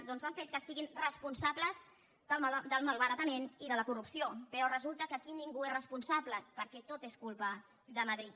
doncs ha fet que siguin responsables del malbaratament i de la corrupció però resulta que aquí ningú n’és responsable perquè tot és culpa de madrid